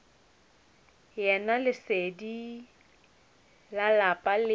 yena lesedi la lapa le